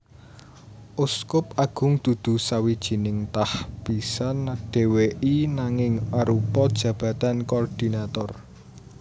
Uskup agung dudu sawijining tahbisan dhéwéi nanging arupa jabatan koordinator